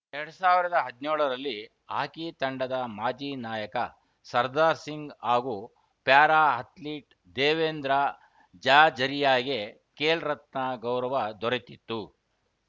ಎರಡ್ ಸಾವಿರದ ಹದ್ನ್ಯೋಳರಲ್ಲಿ ಹಾಕಿ ತಂಡದ ಮಾಜಿ ನಾಯಕ ಸರ್ದಾರ್‌ ಸಿಂಗ್‌ ಹಾಗೂ ಪ್ಯಾರಾ ಅಥ್ಲೀಟ್‌ ದೇವೇಂದ್ರ ಝಾಝರಿಯಾಗೆ ಖೇಲ್‌ ರತ್ನ ಗೌರವ ದೊರೆತಿತ್ತು